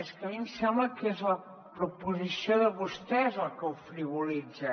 és que a mi em sembla que és la proposició de vostès la que ho frivolitza